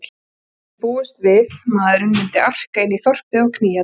Hann hafði þó ekki búist við maðurinn myndi arka inn í þorpið og knýja dyra.